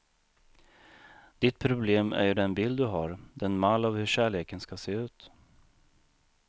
Ditt problem är ju den bild du har, den mall av hur kärleken ska se ut.